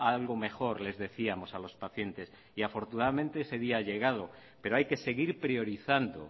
algo mejor les decíamos a los pacientes y afortunadamente ese día ha llegado pero hay que seguir priorizando